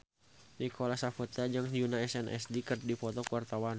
Nicholas Saputra jeung Yoona SNSD keur dipoto ku wartawan